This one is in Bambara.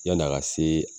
Yann'a ka se